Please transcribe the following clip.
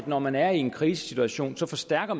når man er i en krisesituation forstærker